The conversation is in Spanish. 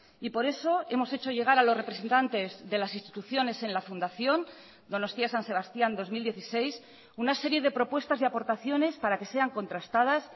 y por eso hemos hecho llegar a los representantes de las instituciones en la fundación donostia san sebastián dos mil dieciséis una serie de propuestas y aportaciones para que sean contrastadas